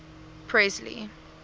presley